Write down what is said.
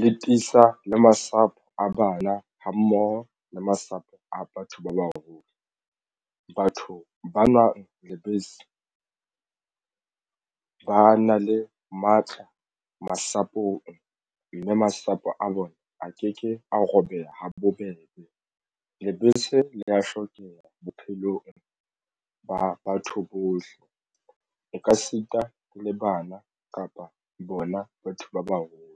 le tiisa le masapo a bana hammoho le masapo a batho ba baholo. Batho ba nwang lebese ba na le matla masapong mme masapo a bona a ke ke a robeha habobebe. Lebese le ya hlokeha bophelong ba batho bohle. O ka sita le bana kapa bona batho ba baholo.